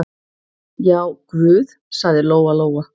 Já, guð, sagði Lóa-Lóa.